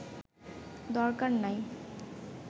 দরকার নাই